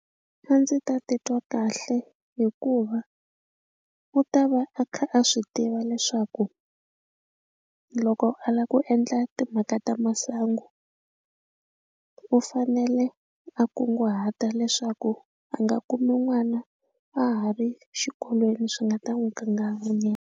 A ndzi ta titwa kahle hikuva u ta va a kha a swi tiva leswaku loko a lava ku endla timhaka ta masangu u fanele a kunguhata leswaku a nga kumi n'wana a ha ri xikolweni swi nga ta n'wi kanganyisa.